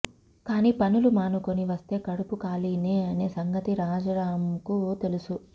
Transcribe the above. కానీ పనులు మానుకుని వస్తే కడుపు ఖాళీనే అనే సంగతి రాజారామ్కు తెలుసు